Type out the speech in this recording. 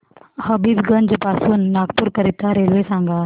हबीबगंज पासून नागपूर करीता रेल्वे सांगा